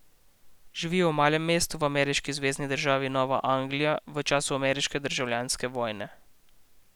Živijo v malem mestu v ameriški zvezni državi Nova Anglija v času ameriške državljanske vojne.